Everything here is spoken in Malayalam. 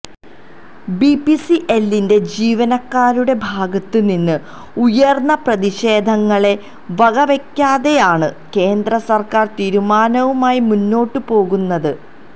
ബിപിസിഎല്ലിന്റെ ജീവനക്കാരുടെ ഭാഗത്ത് നിന്നും ഉയർന്ന പ്രതിഷേധങ്ങളെ വകവയ്ക്കാതെയാണ് കേന്ദ്രസർക്കാർ തീരുമാനവുമായി മുന്നോട്ട് പോകുന്നത്